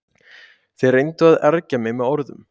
Þeir reyndu að ergja mig með orðum.